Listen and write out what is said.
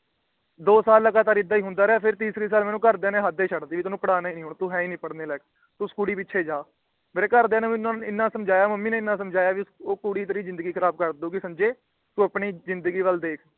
ਦੋ ਸਾਲ ਲਗਾਤਾਰ ਨਾਲ ਏਦਾਂ ਏ ਹੁੰਦਾ ਰਿਹਾ। ਫਿਰ ਤੀਸਰੇ ਸਾਲ ਘਰ ਦੀਆ ਨੇ ਮੇਰੇ ਹੱਦ ਏ ਛੱਡਤੀ ਤੈਨੂੰ ਪਾੜ੍ਹਾਣਾ ਈ ਨਹੀਂ ਹੁਣ ਤੂੰ ਹੈ ਈ ਨਹੀਂ ਪੜਨੇ ਲਾਇਕ। ਤੂੰ ਉਸ ਕੁੜੀ ਪਿੱਛੇ ਜਾ। ਮੇਰੇ ਘਰ ਦੀਆ ਨੇ ਮੈਨੂੰ ਏਨਾ ਸਮਝਾਇਆਂ ਮੇਰੀ ਮੰਮੀ ਨੇ ਮੈਨੂੰ ਏਨਾ ਸਮਝਾਇਆਂ ਵੀ ਉਹ ਕੁੜੀ ਤੇਰੀ ਜਿੰਦਗੀ ਖਰਾਬ ਕਰਦੂਗੀ ਸੰਜੇ ਤੂੰ ਆਪਣੀ ਜਿੰਦਗੀ ਵੱਲ ਦੇਖ।